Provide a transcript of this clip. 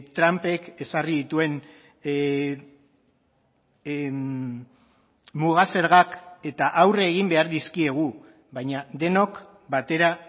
trumpek ezarri dituen muga zergak eta aurre egin behar dizkiegu baina denok batera